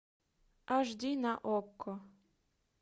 аш ди на окко